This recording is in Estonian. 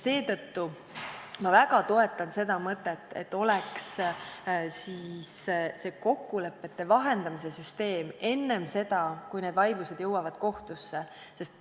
Seetõttu ma väga toetan mõtet, et oleks kokkulepete vahendamise süsteem enne seda, kui vaidlused jõuavad kohtusse.